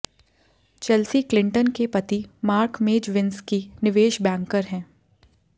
Chelsea Clinton के पति Mark Mezvinsky निवेश बैंकर हैं